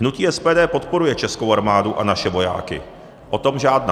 Hnutí SPD podporuje českou armádu a naše vojáky, o tom žádná.